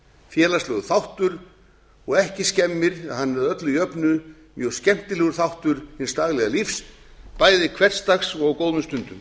félagslegur þáttur og ekki skemmir að hann er að öllu jöfnu mjög skemmtilegur þáttur hins daglega lífs bæði hversdags og á góðum stundum